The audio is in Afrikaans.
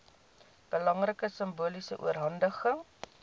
belangrike simboliese oorhandiging